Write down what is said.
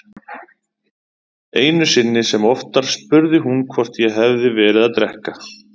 Einu sinni sem oftar spurði hún hvort ég hefði verið að drekka.